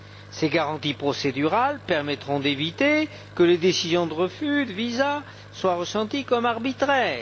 Ces garanties procédurales permettront d'éviter que les décisions de refus de visas soient ressenties comme arbitraires.